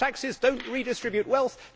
Higher taxes do not redistribute wealth.